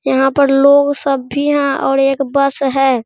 यहां पर लोग सब भी हैं और एक बस है।